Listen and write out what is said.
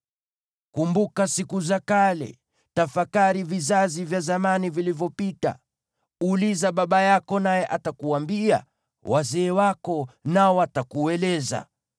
Kumbuka siku za kale; tafakari vizazi vya zamani vilivyopita. Uliza baba yako, naye atakuambia, wazee wako, nao watakueleza.